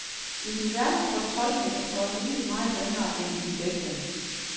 I den værste fortolkning er forliget meget ringere end i den bedste.